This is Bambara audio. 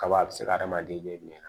Kaba a be se ka hadamaden bilen